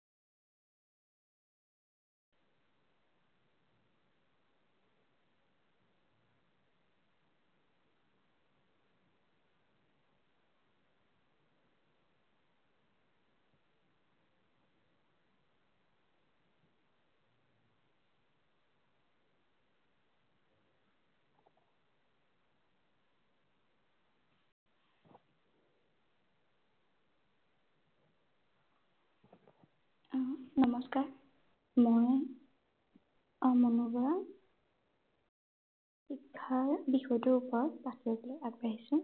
নমস্কাৰ। মই আইমণি বৰা শিক্ষাৰ বিষয়টোৰ ওপৰত আলোচনা কৰিবলৈ আগবাঢ়িছো।